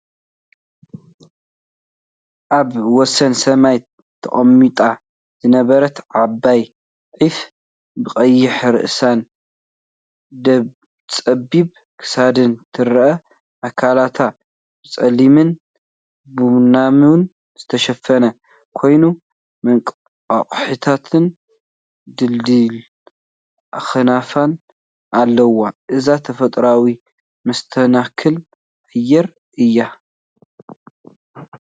ኣብ ወሰን ሰማይ ተቐሚጣ ዝነበረት ዓባይ ዑፍ፡ ብቐይሕ ርእሳን ጸቢብ ክሳዳን ትረአ። ኣካላቱ ብጸሊምን ቡናውን ዝተሸፈነ ኮይኑ፡ መንቋሕቋሕታን ድልዱል ኣኽናፍን ኣለዎ። እዚ ተፈጥሮኣዊ መስተንክር ኣየር እዩ።